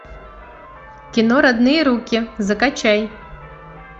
кино родные руки закачай